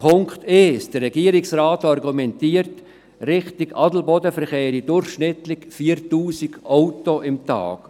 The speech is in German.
Erstens, der Regierungsrat argumentiert, in Richtung Adelboden verkehrten durchschnittlich 4000 Autos pro Tag.